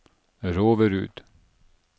Roverud